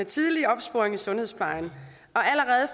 tidlig opsporing i sundhedsplejen